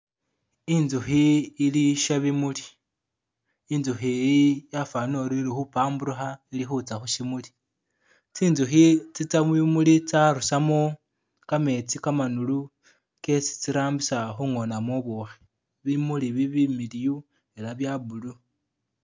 Inzukhi ili shabimuli inzukhi yi yafanile uri ili khupambulukha ili khuza khushimuli, tsinzukhi tsiza mubimuli tsarusamo gameetsi gamanulu gesi tsirambisa kungonamo bubukhi bimuli bi bimiliwu ela bya blue.